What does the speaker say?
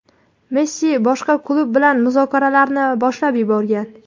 Messi boshqa klub bilan muzokaralarni boshlab yuborgan.